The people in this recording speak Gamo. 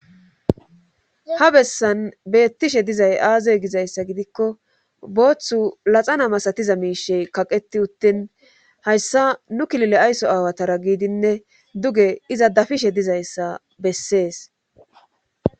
Ha bessan beettishe dizay aazoy gizayssa gidikko booththu laxana masatiza miishe kaqeti uttin hayssa nu kilile aysso aawatara giidinne duge iza dafishe dizayssa bessees.